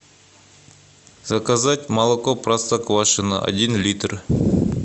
заказать молоко простоквашино один литр